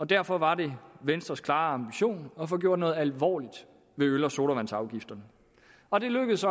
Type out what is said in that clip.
derfor var det venstres klare ambition at få gjort noget alvorligt ved øl og sodavandsafgifterne og det lykkedes